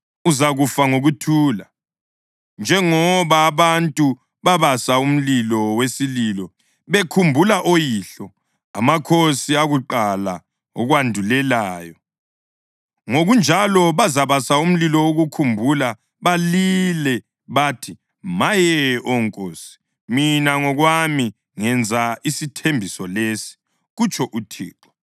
uzakufa ngokuthula. Njengoba abantu babasa umlilo wesililo bekhumbula oyihlo, amakhosi akuqala akwandulelayo, ngokunjalo bazabasa umlilo wokukukhumbula, balile bathi, Maye, Oh Nkosi! Mina ngokwami ngenza isithembiso lesi, kutsho uThixo.’ ”